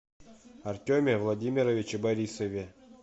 артеме владимировиче борисове